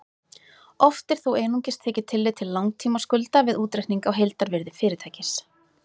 Oft er þó einungis tekið tillit til langtímaskulda við útreikning á heildarvirði fyrirtækis.